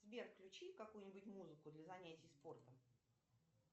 сбер включи какую нибудь музыку для занятий спортом